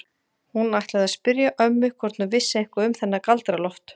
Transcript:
Hún ætlaði að spyrja ömmu hvort hún vissi eitthvað um þennan Galdra-Loft.